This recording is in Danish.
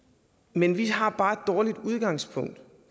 men vi har bare et dårligt udgangspunkt